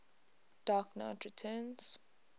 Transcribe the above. dark knight returns